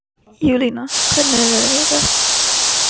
Júlína, hvernig er veðrið í dag?